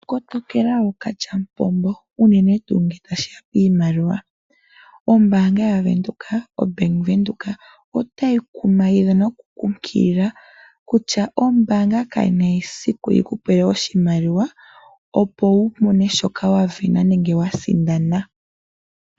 Kotokela ookalya mupumbo unene tuu ngeetashiya kiimaliwa ,ombaanga ya Venduka obank windhoek otayi kumagidha noku kunkilila kutya ombaanga kayina esiku yikupe oshimaliwa opo wumone shoka wavena nenge wasindana.